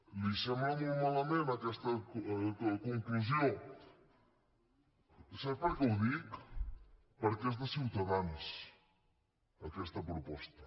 li sembla molt malament aquesta conclusió sap per què ho dic perquè és de ciutadans aquesta proposta